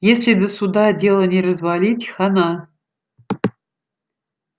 если до суда дело не развалить хана